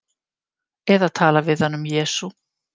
Eða tala við hann um Jesú.